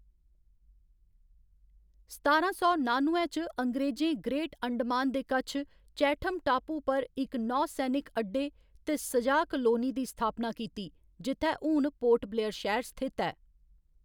सतारां सौ नानुए च, अंग्रेजें ग्रेट अंडमान दे कच्छ चैठम टापू पर इक नौसैनिक अड्डे ते स'जा कालोनी दी स्थापना कीती, जित्थै हून पोर्ट ब्लेयर शैह्‌र स्थित ऐ।